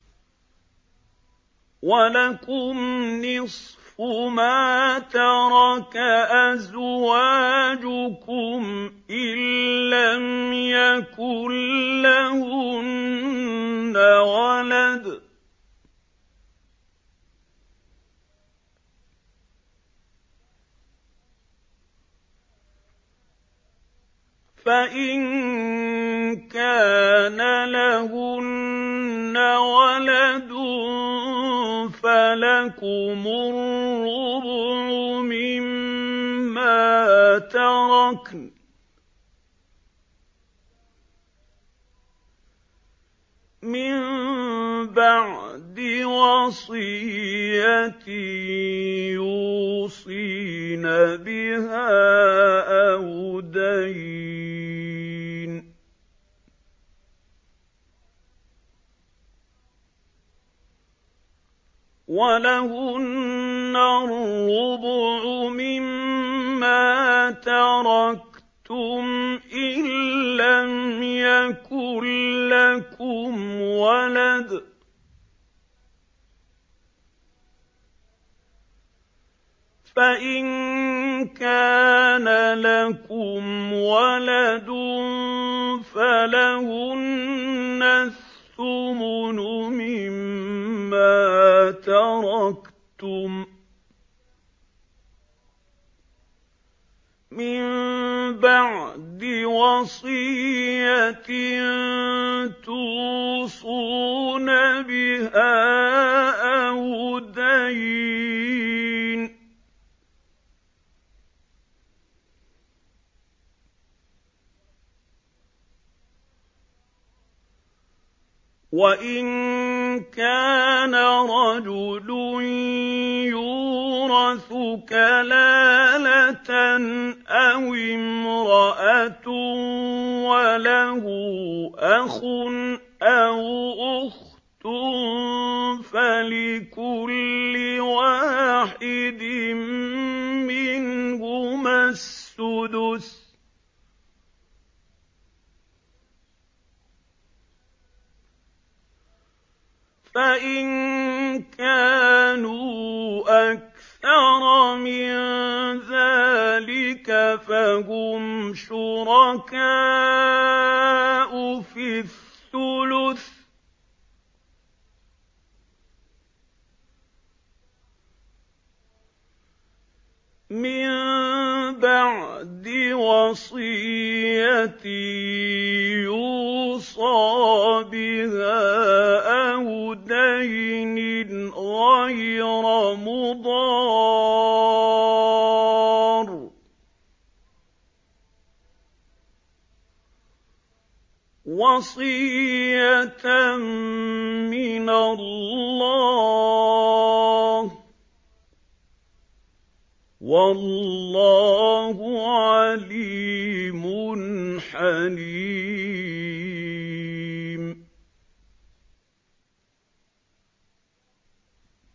۞ وَلَكُمْ نِصْفُ مَا تَرَكَ أَزْوَاجُكُمْ إِن لَّمْ يَكُن لَّهُنَّ وَلَدٌ ۚ فَإِن كَانَ لَهُنَّ وَلَدٌ فَلَكُمُ الرُّبُعُ مِمَّا تَرَكْنَ ۚ مِن بَعْدِ وَصِيَّةٍ يُوصِينَ بِهَا أَوْ دَيْنٍ ۚ وَلَهُنَّ الرُّبُعُ مِمَّا تَرَكْتُمْ إِن لَّمْ يَكُن لَّكُمْ وَلَدٌ ۚ فَإِن كَانَ لَكُمْ وَلَدٌ فَلَهُنَّ الثُّمُنُ مِمَّا تَرَكْتُم ۚ مِّن بَعْدِ وَصِيَّةٍ تُوصُونَ بِهَا أَوْ دَيْنٍ ۗ وَإِن كَانَ رَجُلٌ يُورَثُ كَلَالَةً أَوِ امْرَأَةٌ وَلَهُ أَخٌ أَوْ أُخْتٌ فَلِكُلِّ وَاحِدٍ مِّنْهُمَا السُّدُسُ ۚ فَإِن كَانُوا أَكْثَرَ مِن ذَٰلِكَ فَهُمْ شُرَكَاءُ فِي الثُّلُثِ ۚ مِن بَعْدِ وَصِيَّةٍ يُوصَىٰ بِهَا أَوْ دَيْنٍ غَيْرَ مُضَارٍّ ۚ وَصِيَّةً مِّنَ اللَّهِ ۗ وَاللَّهُ عَلِيمٌ حَلِيمٌ